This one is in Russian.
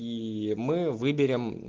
ии мы выберемм